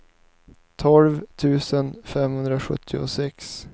tolv tusen femhundrasjuttiosex